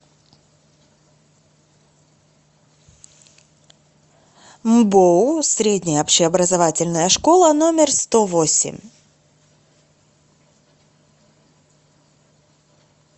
мбоу средняя общеобразовательная школа номер сто восемь